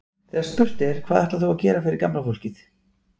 Þegar spurt er, hvað ætlar þú að gera fyrir gamla fólkið?